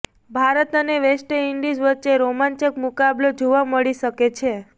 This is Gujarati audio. ભારત અને વેસ્ટઈન્ડિઝ વચ્ચે રોમાંચક મુકાબલો જોવા મળી શકે છે